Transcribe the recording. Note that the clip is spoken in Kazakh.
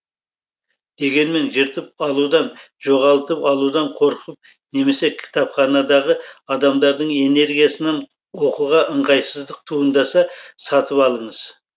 дегенмен жыртып алудан жоғалтып алудан қорқып немесе кітапханадағы адамдардың энергиясынан оқуға ыңғайсыздық туындаса сатып алыңыз